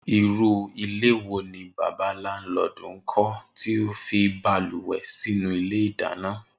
Irú ilé wo ni bàbá láńlo̩ò̩dù ń kó̩ tí ó fi balùwè̩ sínú ilé ìdáná